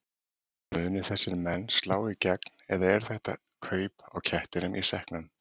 Munu þessir menn slá í gegn eða eru þetta kaup á kettinum í sekknum?